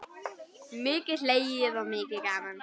Mikið hlegið og mikið gaman.